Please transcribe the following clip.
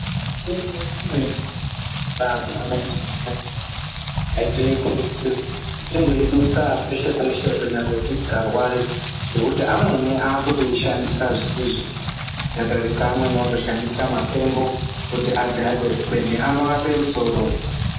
Mitombo imweni yataakupuwa mazuwa anaa, atii kurudzirwi, kuzi tingoidusa peshe-peshe kunyangwe tisikarwari. Ngekuti amweni aakutoishandisa zvisizvo. Ukatarisa amweni otoshandisa mafembo kuita kuti adhakwe, kube anorapa musoro.